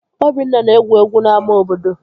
Obinna na-egwu egwu n'ámá obodo